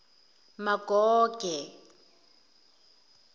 magoge